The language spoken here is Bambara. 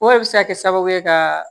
O de bɛ se ka kɛ sababu ye ka